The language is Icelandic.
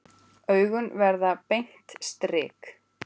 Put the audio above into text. Augun verða beint strik.